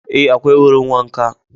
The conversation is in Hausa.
Ee, akwai wurin wanka